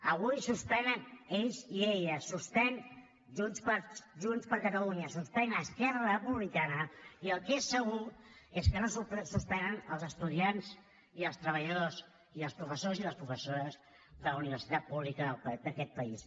avui suspenen ells i elles suspèn junts per catalunya suspèn esquerra republicana i el que és segur és que no suspenen els estudiants i els treballadors i els professors i les professores de la universitat pública d’aquest país